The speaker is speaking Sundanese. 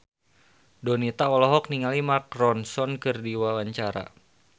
Donita olohok ningali Mark Ronson keur diwawancara